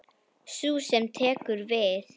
Sú sem tekur við.